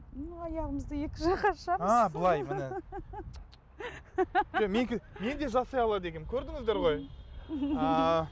ну аяғымызды екі жаққа ашамыз ааа былай міне мен де жасай алады екенмін көрдіңіздер ғой ааа